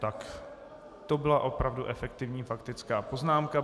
Tak to byla opravdu efektivní faktická poznámka.